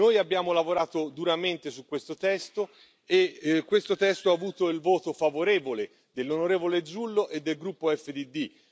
Noi abbiamo lavorato duramente su questo testo e questo testo ha avuto il voto favorevole dell'onorevole Zullo e del gruppo EFDD.